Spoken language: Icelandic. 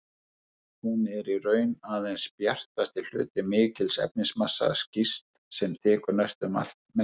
Hún er í raun aðeins bjartasti hluti mikils efnismassa, skýs, sem þekur næstum allt merkið.